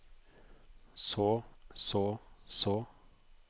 så så så